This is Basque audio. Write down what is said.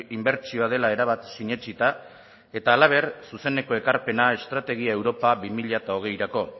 inbertsioa dela erabat sinetsita eta halaber zuzeneko ekarpena estrategia europa bi mila hogeirako